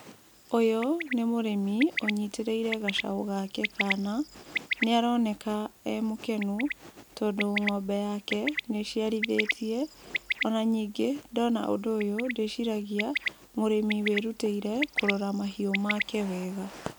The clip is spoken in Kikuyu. Ũyũ nĩ mũrĩmi ũnyitĩrĩire gacaũ gake kana, nĩ aroneka e mũkenu, tondũ ng'ombe yake nĩ ĩciarithĩtie. Ona ningĩ ndona ũndũ ũyũ ndĩciragia mũrĩmi wĩ rutĩire kũrora mahiũ make wega.